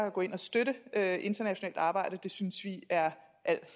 at gå ind og støtte internationalt arbejde synes vi er al